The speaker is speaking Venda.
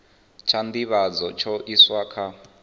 tsha nḓivhadzo tsha iswa kha